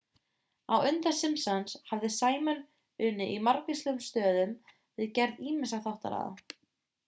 á undan simpsons hafði simon unnið í margvíslegum stöðum við gerð ýmissa þáttaraða